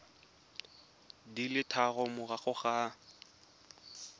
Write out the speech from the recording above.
di le tharo morago ga